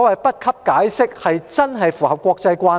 不給予解釋，是否真的符合國際慣例？